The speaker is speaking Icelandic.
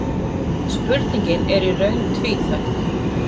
Spurningin er í raun tvíþætt.